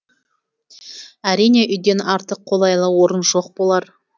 әрине үйден артық қолайлы орын жоқ болар